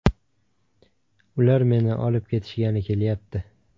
Ular meni olib ketishgani kelyapti.